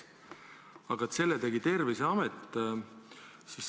Aga selle tegi Terviseamet.